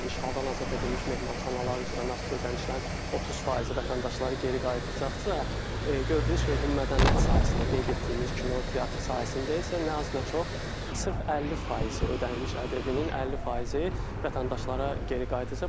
İndi işğaldan azad edilmiş mehmanxanalar üzrə nağdsız ödənişlərin 30% vətəndaşları geri qayıdıraqsısa, gördüyünüz kimi bu mədəniyyət sahəsində qeyd etdiyimiz kino, teatr sahəsində isə nə az, nə çox sırf 50% ödənilmiş ədəbiyyatın 50% vətəndaşlara geri qayıdacaqdır.